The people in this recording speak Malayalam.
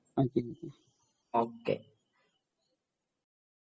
ഓകെ